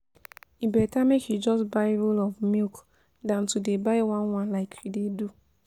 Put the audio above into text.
E better make you just buy roll of milk than to dey buy one one like you dey do